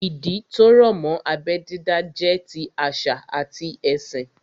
Ìdí tó rọ̀ mọ́ abẹ́ dídá jẹ́ ti àṣà àti ẹ̀sìn